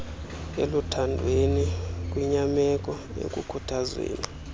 eluthandweni kwinyameko ekukhuthazweni